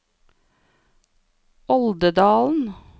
Oldedalen